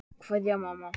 Kveðja, mamma.